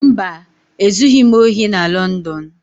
Mba, e zughị m ohị na Lọndọn